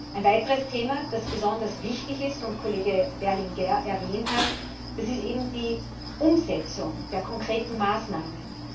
Ein weiteres Thema, das besonders wichtig ist und Kollege Berlinguer erwähnt hat, ist die Umsetzung der konkreten Maßnahmen.